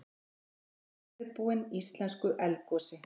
Voru óviðbúin íslensku eldgosi